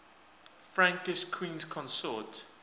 frankish queens consort